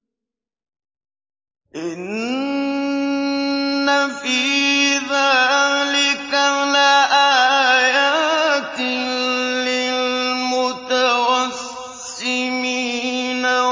إِنَّ فِي ذَٰلِكَ لَآيَاتٍ لِّلْمُتَوَسِّمِينَ